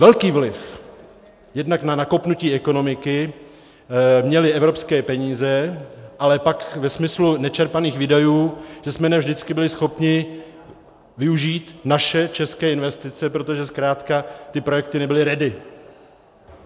Velký vliv jednak na nakopnutí ekonomiky měly evropské peníze, ale pak ve smyslu nečerpaných výdajů jsme ne vždycky byli schopni využít naše české investice, protože zkrátka ty projekty nebyly ready.